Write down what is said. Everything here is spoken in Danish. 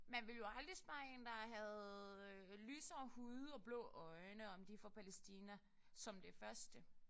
Men ville jo aldrig spørge en der havde lysere hud og blå øjne om de er fra Palæstina som det første